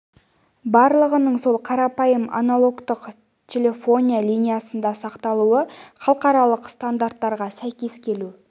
барлығының сол қарапайым аналогтық телефония линиясында сақталуы халықаралық стандарттарға сәйкес келу